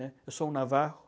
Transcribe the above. Eu sou um navarro.